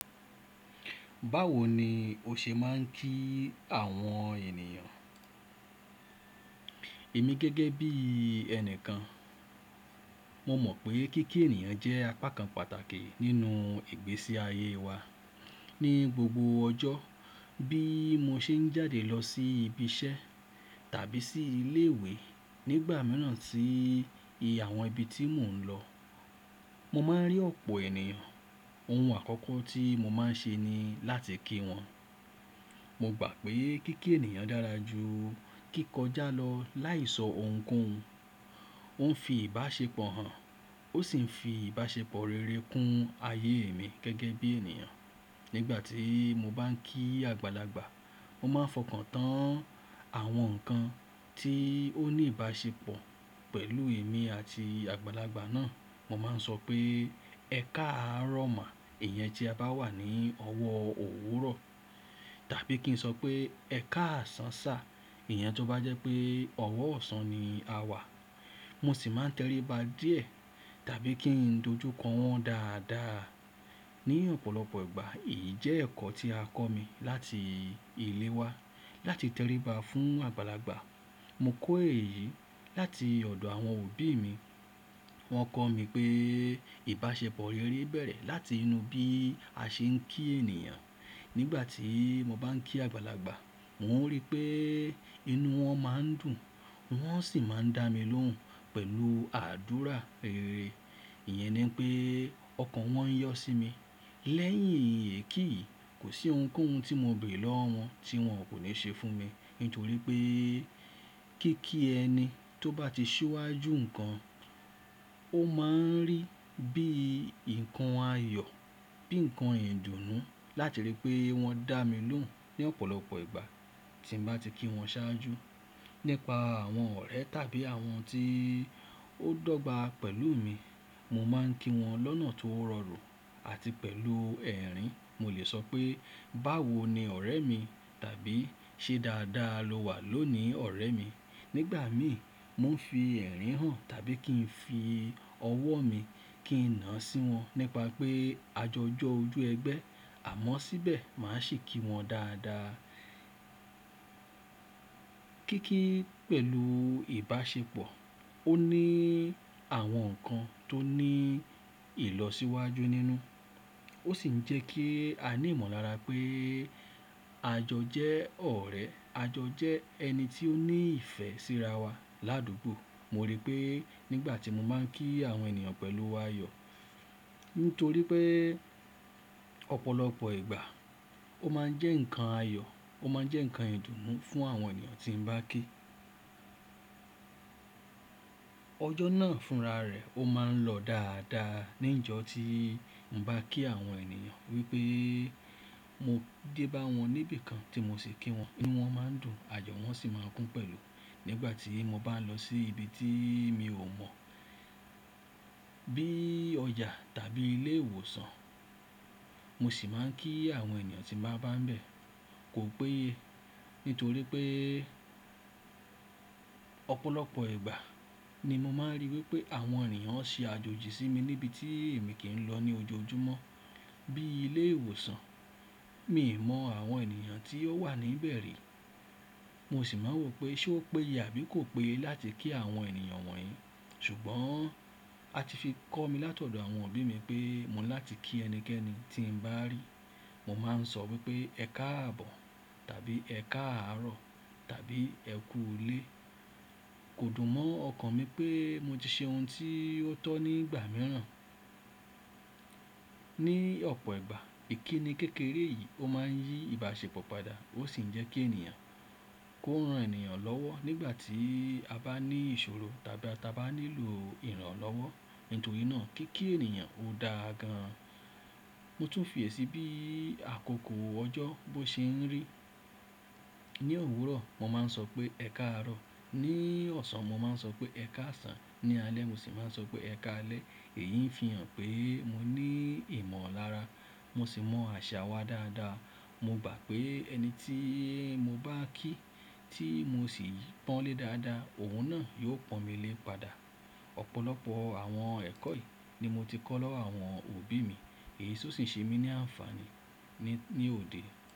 Báwo ni o ṣe máa ń kí àwọn ènìyàn? Èmi gẹ́gẹ́ bí ẹni kan, mo mọ̀ pé kíkí ènìyàn jẹ́ apakan pàtàkì nínú ìgbésí ayé wa. Ni gbogbo ọjọ́, bí mo ṣe ń jáde lọ sí ibi iṣẹ́ tàbí sí ilé ìwé, nígbà mìíràn tí i ibi àwọn ibi tí mò ń lọ, mo máa ń rí ọ̀pọ̀ ènìyàn. Ohun àkọ́kọ́ tí mo máa ń ṣe ni láti kí wọn. Mo gbà pé kíkí ènìyàn dára ju kíkọjá lọ láì sọ ohunkóhun. Ó ń fi ìbáṣepọ̀ hàn, ó sì ń fi ìbáṣepọ̀ rere kún ayé mi gẹ́gẹ́ bí ènìyàn. Nígbà tí mo bá ń kí àgbàlagbà, mo máa ń fọkàn tán àwọn nǹkan tí ó ní ìbáṣepọ̀ pẹ̀lú èmi àti àgbàlagbà náà. Mo máa ń sọ pé "ẹ káàárọ̀ má" iyẹn tí a bá wà ní ọwọ́ òwúrọ̀. Tàbí kí n sọ pé "ẹ káàsán ṣà" iyẹn tó bá jẹ́ pé ọwọ́ ọ̀sán ni a wà. Mo sì máa ń tẹríba díẹ̀ tàbí kí n dojú kọ wọ́n dáadáa. Ni ọ̀pọ̀lọpọ̀ ìgbà, èyí jẹ́ ẹ̀kọ́ tí a kọ́ mi láti ilé wa láti tẹríba fún àgbàlagbà. Mo kọ́ èyí láti ọ̀dọ̀ àwọn òbí mi. Wọ́n kọ́ mi pé ìbáṣepọ̀ rere bẹ̀rẹ̀ láti inú bí a ṣe ń kí ènìyàn. Nígbà tí mo bá ń kí àgbàlagbà, wọ́n rí pé inú wọn máa ń dùn, wọ́n sì máa ń dá mi lóhùn pẹ̀lú àdúrà rere. Ìyẹn ni pé ọkàn wọn yọ́ sí mi. Lẹ́yìn ikì yí, kò sí ohunkóhun tí mo bèèrè lọ́wọ́ wọn tí wọ́n kò ní ṣe fún mi. Nítorí pé kíkí ẹni tó bá ti súwájú nǹkan, ó máa ń rí bí nǹkan ayọ̀, bí nǹkan ìdùnnú. Látirí pé wọ́n dá mi lóhùn ní ọ̀pọ̀lọpọ̀ ìgbà tí mo bá ti kí wọn ṣáájú. Nípa àwọn ọ̀rẹ́ tàbí àwọn tí ó dọ́gba pẹ̀lú mi, mo máa ń kí wọn lọ́nà tó rọrùn àti pẹ̀lú ẹ̀rín. Mo lè sọ pé, "báwo ni ọ̀rẹ́ mi?" tàbí "ṣe dáadáa lo wà lónìí ọ̀rẹ́ mi?" Nígbà mi, mo ń fi ẹ̀rín hàn tàbí kí n fi ọwọ́ mi kí n nà án sí wọn nípa pé a jọ jọ́ ojú ẹgbẹ́. Àmọ́ síbẹ̀ màá sì kí wọn dáadáa. Kíkí pẹ̀lú ìbáṣepọ̀, ó ní àwọn nǹkan tó ní ìlọsíwájú nínú. Ó sì ń jẹ́ kí a ní ìmọ̀lára pé à jọ jẹ́ ọ̀rẹ́, a jọ jẹ́ ẹni tí ó ní ìfẹ́ síra wa ládùgbò. Mo rí pé nígbà tí mo máa ń kí àwọn ènìyàn pẹ̀lú ayọ̀, nítorí pé ọ̀pọ̀lọpọ̀ ìgbà ó máa ń jẹ́ nǹkan ayọ̀, ó máa ń jẹ́ nǹkan ìdùnnú fún àwọn ènìyàn tí mo bá kí. Ọjọ́ náà fúnra rẹ̀ ó máa ń lọ dáadáa ní ìjọ tí mo bá kí àwọn ènìyàn. Ríi pé mo dé bá wọn níbi kan tí mo sì kí wọn, bí wọ́n máa ń dùn, ayọ̀ wọ́n sì máa kún pẹ̀lú. Nígbà tí mo bá lọ sí ibi tí mi ò mọ̀ bí i ọjà tàbí ilé ìwòsàn, mo sì máa ń kí àwọn ènìyàn tí màá bá ń bẹ̀ kò péye. Nítorí pé ọ̀pọ̀lọpọ̀ ìgbà ni mo máa ń ríi wípé àwọn ènìyàn ń ṣe àjòjì sí mi níbi tí èmi kì í lọ ní ojoojúmọ́ bí i ilé ìwòsàn. Mi ò mọ àwọn ènìyàn tí ó wà níbẹ̀ rí. Mo sì máa ń rò pé ṣé ó péye àbí kò péye láti kí àwọn ènìyàn wọ̀nyí. Ṣùgbọ́n a ti fi kọ́ mi láti ọ̀dọ̀ àwọn òbí mi pé mò ní láti kí ẹnikẹ́ni tí mo bá rí. Mo máa ń sọ wípé "ẹ káàbọ̀" tàbí "ẹ káàárọ̀" tàbí "ẹ kú ilé". Kò dùn mọ́ ọkàn mi pé mo ti ṣe ohun tí ó tọ́ nígbà mìíràn. Ni ọ̀pọ̀ ìgbà ìkíni kékeré yìí ó máa ń yí ìbáṣepọ̀ padà ó sì ń jẹ́ kí ènìyàn kó ran ènìyàn lọ́wọ́ nígbà tí a bá ní ìṣòro tàbí a bá nílò ìrànlọ́wọ́. Nítorí náà kíkí ènìyàn ò dáa gan an. Mo tún fi èsì bí àkókò ọjọ́ bó ṣe ń rí. Ni òwúrọ̀ mo máa ń sọ pé "ẹ káàárọ̀", ní ọ̀sán mo máa ń sọ pé "ẹ káàsán", ní alẹ́ mo sì máa ń sọ pé "ẹ káalẹ́". Èyí ń fi hàn pé mo ní ìmọ̀lára, mo sì mọ àṣà wa dáadáa. Mo gbà pé ẹni tí mo bá kí tí mo sì yí pọ́n lé dáadáa òun náà yóò pọ́n mi lé padà. Ọ̀pọ̀lọpọ̀ àwọn ẹ̀kọ́ yìí ni mo ti kọ́ lọ́wọ́ àwọn òbí mi. Èyí sì ń ṣe mí ní ànfàní ní òde.